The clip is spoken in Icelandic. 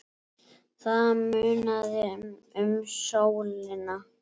Það munaði um sólina.